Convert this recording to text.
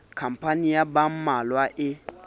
khampani ya ba mmalwa e